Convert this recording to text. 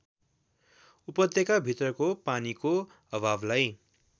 उपत्यकाभित्रको पानीको अभावलाई